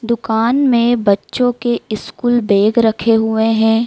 दुकान में बच्चों के स्कूल बैग रखे हुए हैं।